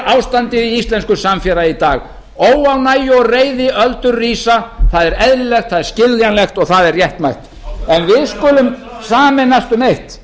ástandið í íslensku samfélagi í dag óánægju og reiðiöldur rísa það er eðlilegt það er skiljanlegt og það er réttmætt en við skulum sameinast um eitt